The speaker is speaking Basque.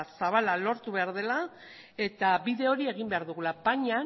zabala lortu behar dela eta bide hori egin behar dugula baina